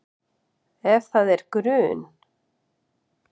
Ef það er grun